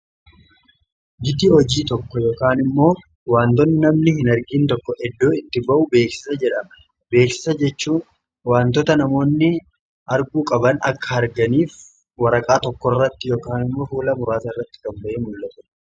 Gita hojii tokko yookaan immoo waantoonni namni hin argiin tokko eddoo itti ba'u beeksisa jedhama. Beeksisa jechuu waantoota namoonni arguu qaban akka arganiif waraqaa tokko irratti yookaan immoo fuula muraasa irratti gadi ba'ee kan mul'atudha.